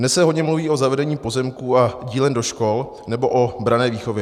Dnes se hodně mluví o zavedení pozemků a dílen do škol nebo o branné výchově.